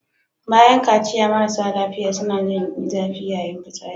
Bayan kaciya marasa lafiya suna jin zafi yayin fitsari.